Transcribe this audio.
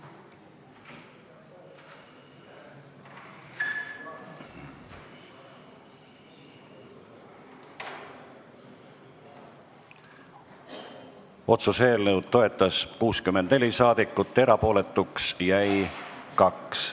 Hääletustulemused Otsuse eelnõu toetas 64 saadikut, erapooletuks jäi 2.